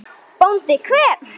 BÓNDI: Hver?